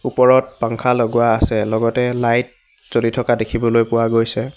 ওপৰত পাংখা লগোৱা আছে লগতে লাইট জ্বলি থকা দেখিবলৈ পোৱা গৈছে।